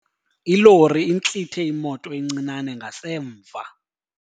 Ilori intlithe imoto encinane ngasemva.